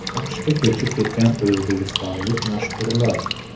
AQShga ko‘chib ketgan o‘zbekistonlik mashhurlar.